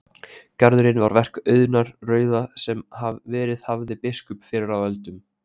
Garðurinn var verk Auðunar rauða sem verið hafði biskup fyrr á öldum.